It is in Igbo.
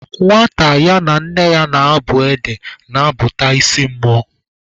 Nwata ya na nne ya na-abụ ede na-abụta isi mmụọ